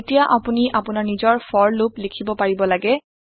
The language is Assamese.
এতিয়া আপোনি আপোনাৰ নিজৰ ফৰ লুপ লিখিব পাৰিব লাগে